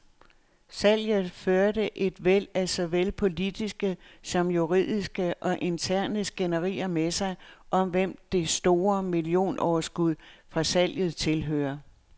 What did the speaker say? Salget førte et væld af såvel politiske som juridiske og interne skænderier med sig, om hvem det store millionoverskud fra salget tilhører.